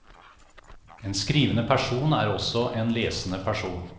En skrivende person er også en lesende person.